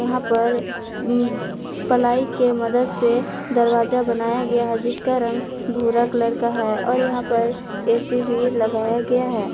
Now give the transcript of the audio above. यहां पर प्लाई के मदद से दरवाजा बनाया गया है जिसका रंग भूरा कलर का है और यहां पर ए_सी भी लगाया गया है।